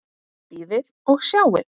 Bíðið og sjáið!